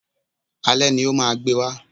Alé ni o máa gbé wa